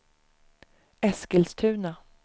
Eskilstuna